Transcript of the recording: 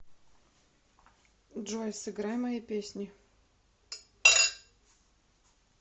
джой сыграй мои песни